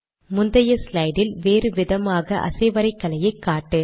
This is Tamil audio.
முந்தைய ஸ்லைட் இல் வேறு விதமான அசைவரைகலையை காட்டு